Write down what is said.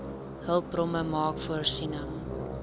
hulpbronne maak voorsiening